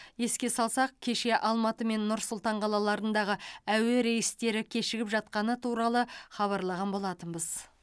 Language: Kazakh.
еске салсақ кеше алматы мен нұр сұлтан қалаларындағы әуе рейстері кешігіп жатқаны туралы хабарлаған болатынбыз